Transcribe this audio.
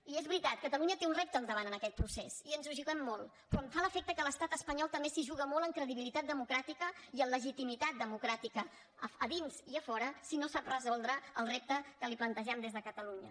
i és veritat catalunya té un repte al davant en aquest procés i ens hi juguem molt però em fa l’efecte que l’estat espanyol també s’hi juga molt en credibilitat democràtica i en legitimitat democràtica a dins i a fora si no sap resoldre el repte que li plantegem des de catalunya